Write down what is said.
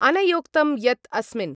अनयोक्तं यत् अस्मिन्